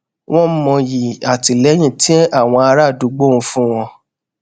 wón mọyì àtìléyìn tí àwọn ará àdúgbò ń fún wọn